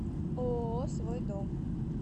ооо свой дом